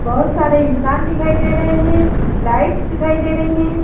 बहुत सारे इंसान दिखाई दे रहे हैं लाइट्स दिखाई दे रही हैं।